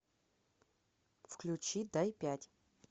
включи дай пять